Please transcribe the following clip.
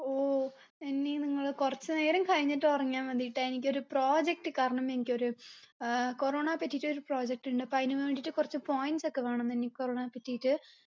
ഓ നനി നിങ്ങൾ കുറച്ച് നേരം കയിഞ്ഞിട്ട് ഉറങ്ങിയ മതിട്ടോ എനിക്കൊരു project കാരണം എനിക്കൊരു ഏർ corona പറ്റിട്ടൊരു project ഇണ്ട് അപ്പൊ അയിന് വേണ്ടിട്ട് കുറച്ച് points ഒക്കെ വേണം നനി corona പറ്റിട്ട്